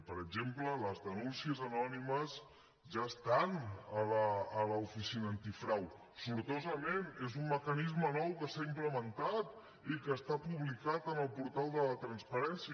i per exemple les denúncies anònimes ja estan a l’oficina antifrau sortosament és un mecanisme nou que s’ha implementat i que està publicat en el portal de la transparència